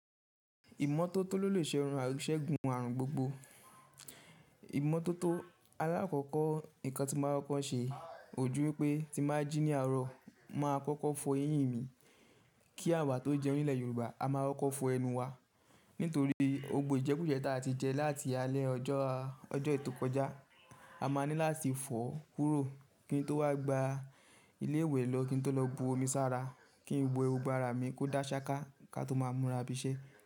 Ìmọ́tótó lọ̀lẹ ṣe rùn, sẹ̀gun àrùn gbogbo. Ìmọ́tótó alákọ̀kọ̀ ikan tí màá ń kókó ṣe kojú wipé tí m bà jí ní àárọ̀, màá kọ́kọ́ fọ eyín mi. Kí àwa tó jẹun nílẹ̀ Yorùbá, a máa kọ́kọ́ fọ ẹnu wa. Nítorí ogbó ijẹkújẹ ta ti jẹ láti alẹ́ ọjọ́ ọjọ́ ẹyì tó kọjá. A máa ní láti fọ kúrò kí n tó wá gba ilé-ìwẹ̀ lọ́, kí n tó lọ bu omi sára, kí n we ogbo ara mi kó dá ṣáká ká tó máa múra bísẹ́